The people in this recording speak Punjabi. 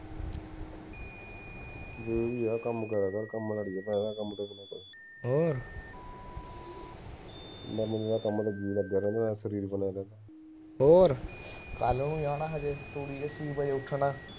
ਹੋਰ ਕੱਲ ਨੂੰ ਜਾਣਾ